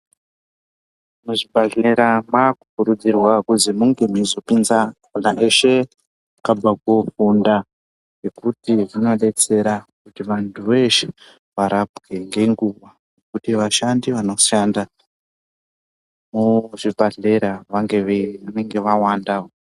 Muzvibhehlera makukurudzirwa kuti munge meizopinza vantu veshe vakabva kofunda ngekuti zvinodetsera kuti vantu veshe varapwe ngenguva, kuti vashandi vanoshanda muzvibhehlera vange vawandawo.